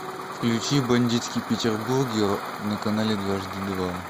включи бандитский петербург на канале дважды два